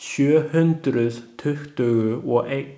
Sjöhundruð tuttugu og einn.